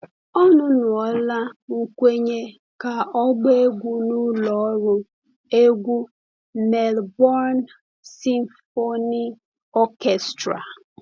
Ọnụnọla nkwenye ka ọ gbaa egwu n’ụlọ ọrụ egwu Melbourne Symphony Orchestra.